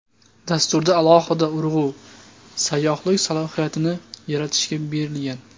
Dasturda alohida urg‘u sayyohlik salohiyatini yaratishga berilgan.